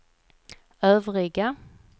övriga